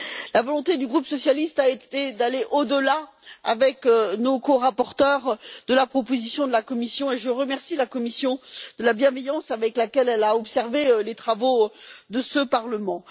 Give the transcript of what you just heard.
La volonté du groupe socialiste a été d'aller au delà, avec nos corapporteurs, de la proposition de la Commission, que je remercie d'ailleurs pour la bienveillance avec laquelle elle a observé les travaux de ce Parlement.